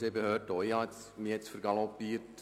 Somit kommen wir zur Abstimmung.